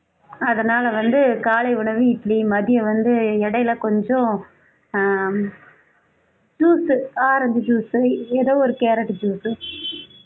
அதனால வந்து காலை உணவு இட்லி மதியம் வந்து இடையில கொஞ்சம் ஆஹ் juice உ orange juice உ ஏதோ ஒரு carrot உ juice உ